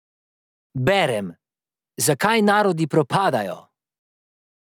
Berem: "Zakaj narodi propadajo?